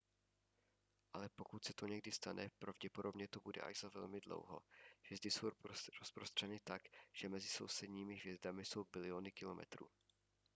ale pokud se to někdy stane pravděpodobně to bude až za velmi dlouho hvězdy jsou rozprostřeny tak že mezi sousedními hvězdami jsou biliony kilometrů